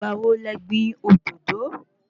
Ìgbà wo lẹ gbìn òdòdó?